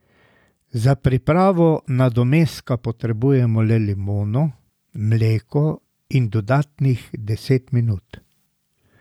Za pripravo nadomestka potrebujemo le limono, mleko in dodatnih deset minut.